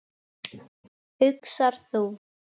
hugsar þú.